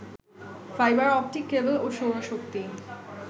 fibre optic cable ও সৌরশক্তি